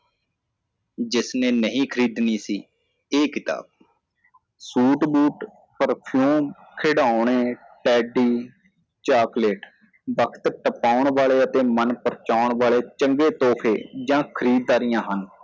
ਜਿਸਨੇ ਨਹੀ ਖਰੀਦਣੀ ਸੀ ਇਹ ਕਿਤਾਬ ਸੂਟ ਬੂਟ perfume ਖਿਡੋਣੇ teddy chocolate ਵਕ਼ਤ ਤਪੌਂਣ ਵਾਲੇ ਅਤੇ ਮਨ ਪਰਚੋਣ ਵਾਲੇ ਚੰਗੇ ਤੋਹਫ਼ੇ ਜਾਂ ਖ੍ਰੀਦਦਾਰੀਆਂ ਹਨ